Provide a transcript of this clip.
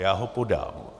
Já ho podám.